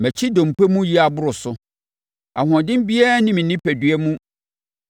Mʼakyi dompe mu yea boro so: ahoɔden biara nni me onipadua mu.